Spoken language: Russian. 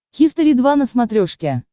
хистори два на смотрешке